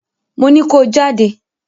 Mo ní ko jáde!